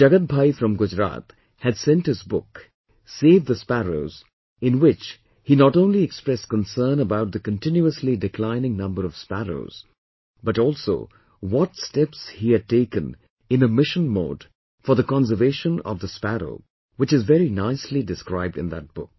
Jagat Bhai from Gujarat, had sent his book, 'Save the Sparrows' in which he not only expressed concern about the continuously declining number of sparrows, but also what steps he has taken in a mission mode for the conservation of the sparrow which is very nicely described in that book